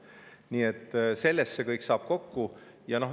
Nii et sellest see kõik kokku.